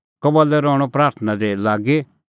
कबल्लै रहणअ प्राथणां दी लागी